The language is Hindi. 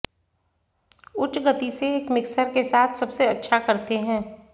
उच्च गति से एक मिक्सर के साथ सबसे अच्छा करते हैं